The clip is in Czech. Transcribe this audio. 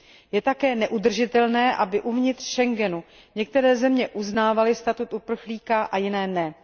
Je také neudržitelné, aby uvnitř Schengenu některé země uznávaly statut uprchlíka a jiné ne.